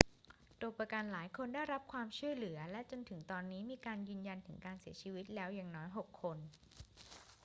ตัวประกันหลายคนได้รับความช่วยเหลือ และจนถึงตอนนี้มีการยืนยันถึงการเสียชีวิตแล้วอย่างน้อย 6 คน